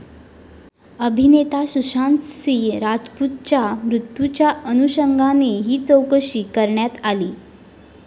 अभिनेता सुशांतसिंह राजपूतच्या मृत्यूच्या अनुषंगाने ही चौकशी करण्यात आली.